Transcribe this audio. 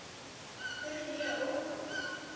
spurði ég órór.